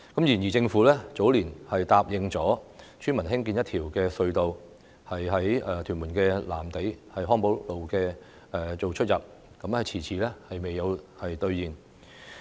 然而，政府早年答應村民興建一條隧道，在屯門藍地康寶路作出入口，但遲遲未有兌現。